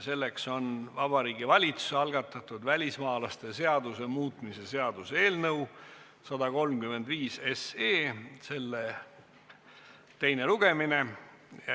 Selleks on Vabariigi Valitsuse algatatud välismaalaste seaduse muutmise seaduse eelnõu 135 teine lugemine.